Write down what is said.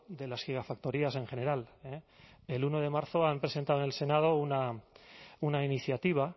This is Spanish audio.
de las gigafactorías en general el uno de marzo han presentado en el senado una iniciativa